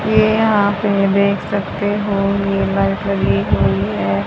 ये यहां पे देख सकते हो ये मर्करी हुई है।